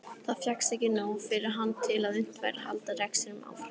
Þá fékkst ekki nóg fyrir hann til að unnt væri að halda rekstrinum áfram.